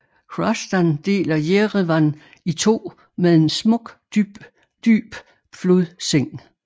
Hrazdan deler Jerevan i to med en smuk dyb flodseng